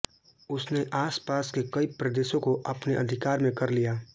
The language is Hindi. उसने आसपास के कई प्रदेशों को अपने अधिकार में कर लिया